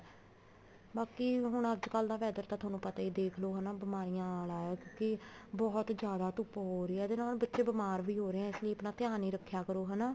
ਬਾਕੀ ਹੁਣ ਅੱਜਕਲ ਦਾ weather ਤਾਂ ਤੁਹਾਨੂੰ ਪਤਾ ਹੀ ਹੈ ਦੇਖਲੋ ਹਨਾ ਬਿਮਾਰੀਆਂ ਆਲਾ ਹੈ ਕਿਉਂਕਿ ਬਹੁਤ ਜਿਆਦਾ ਧੁੱਪ ਹੋ ਰਹੀ ਹੈ ਇਹਦੇ ਨਾਲ ਬੱਚੇ ਬੀਮਾਰ ਵੀ ਹੋ ਰਹੇ ਨੇ ਇਸ ਲਈ ਆਪਣਾ ਧਿਆਨ ਰੱਖਿਆ ਕਰੋ ਹਨਾ